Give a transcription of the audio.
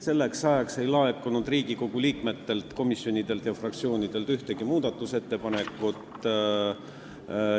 Selleks ajaks ei laekunud Riigikogu liikmetelt, komisjonidelt ega fraktsioonidelt ühtegi muudatusettepanekut.